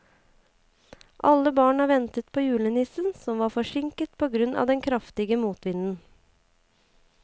Alle barna ventet på julenissen, som var forsinket på grunn av den kraftige motvinden.